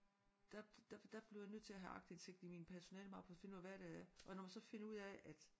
Der der der bliver jeg nødt til at have aktindsigt i min personalemappe for at finde ud af hvad der er og når man så finder ud af at